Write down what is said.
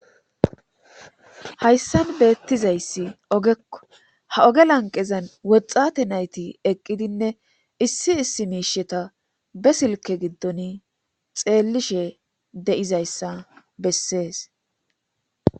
hayssan beettizayssi ogekko ha oge lanqezan woxxate nayti eqqidinne issi issi miisheta be silke giddon xeellishe de7izayssa bessees